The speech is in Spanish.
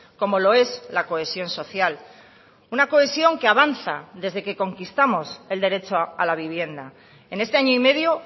como lo es la cohesión social una cohesión que avanza desde que conquistamos el derecho a la vivienda en este año y medio